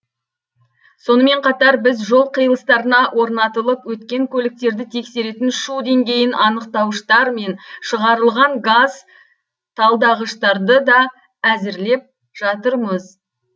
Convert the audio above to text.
сонымен қатар біз жол қиылыстарына орнатылып өткен көліктерді тексеретін шу деңгейін анықтауыштар мен шығарылған газ талдағыштарды да әзірлеп жатырмыз